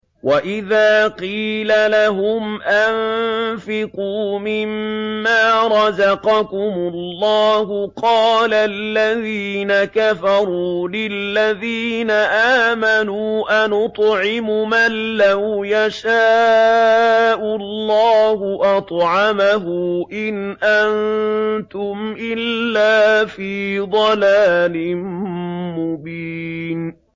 وَإِذَا قِيلَ لَهُمْ أَنفِقُوا مِمَّا رَزَقَكُمُ اللَّهُ قَالَ الَّذِينَ كَفَرُوا لِلَّذِينَ آمَنُوا أَنُطْعِمُ مَن لَّوْ يَشَاءُ اللَّهُ أَطْعَمَهُ إِنْ أَنتُمْ إِلَّا فِي ضَلَالٍ مُّبِينٍ